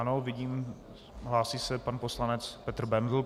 Ano, vidím, hlásí se pan poslanec Petr Bendl.